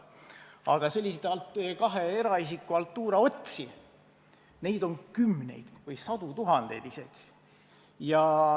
Aga selliseid kahe eraisiku vahelise haltuura otsi on kümneid või sadu tuhandeid.